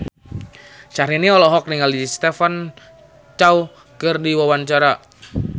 Syahrini olohok ningali Stephen Chow keur diwawancara